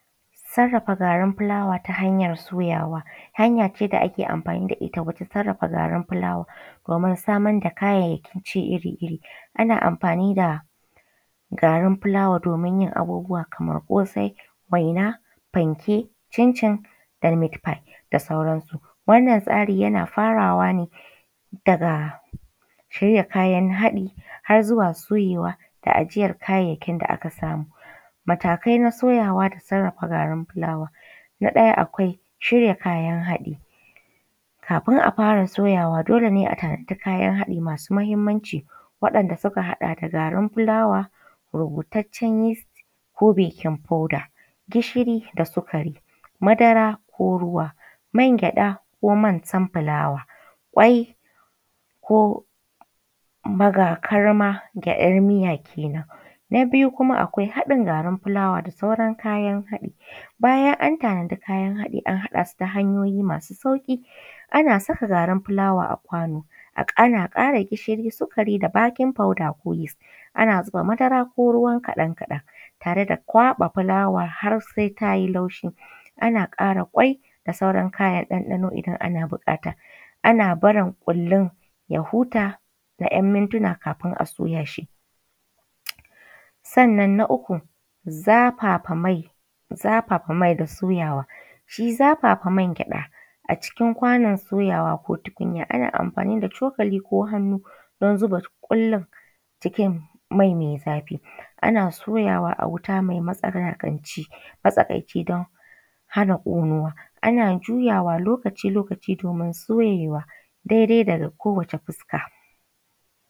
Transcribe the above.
Sarrafa garin fulawa ta hanyar soyawa hanya ce da ake amfani da ita wajen sarrafa garin fulawa domin samar da kayayyakin ci iri-iri. Ana amfani da gari fulawadomin yin abubuwa kamar ƙosai, waina, fanke, cincin da meat-pie da sauran su. Wannan tsari yana farawa ne daga shirya kayan haɗi har zuwa soyewa da ajiyar kayayyakin da aka samu. Matakai na soyawa da sarrafa garin fulawa. Na ɗaya akwai shirya kayan haɗi, kafin a fara soyawa dole nea tanadi kayan haɗi masu muhimmanci waɗanda suka haɗa da garin fulawa, rubutaccen yis ko baking powder, gishiri da sukari, madara ko ruwa, mangyaɗa ko man sunflower, ƙwai ko bagakarma [Gyaɗar miya] Kenan. Na biyu kuma akwai haɗin garin fulawa da sauran kayan haɗi, bayan an tanadi kayan haɗi an haɗa su ta hanyoyi masu sauƙi, ana saka garin fulawa a kwano ana ƙara gishiri, sukari da baking powder ko yis, ana zuba madara ko ruwa kaɗan-kaɗan tare da kwaɓa fulawa har sai ta yi laushi, ana ƙara ƙwai da sauran kayan ɗanɗano idan ana buƙata. Ana barin ƙullun ya huta na ‘yan mintuna kafin a soya shi. Sannan na uku zafafa mai, zafafa mai da soyawa, shi zafafa mangyaɗa a cikin kwanon soyawa ko tukunya ana amfani da cokali ko hannu don zuba ƙullun cikin mai mai zafi, ana soyawa a wuta mai matsakaici don hana ƙonuwa. Ana juyawa lokaci-lokaci domin soyewa dai-dai da kowace fuska.